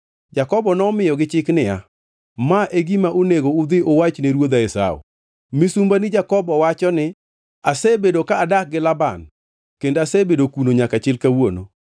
Jakobo nomiyogi chik niya, “Ma e gima onego udhi uwach ne ruodha Esau: Misumbani Jakobo wacho ni, ‘Asebedo ka adak gi Laban kendo asebedo kuno nyaka chil kawuono.